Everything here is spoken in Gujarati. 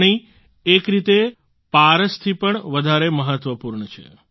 પાણી એક રીતે પારસથી પણ વધારે મહત્વપૂર્ણ છે